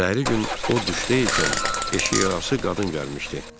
Səhəri gün o duşda ikən, eşik ağası qadın gəlmişdi.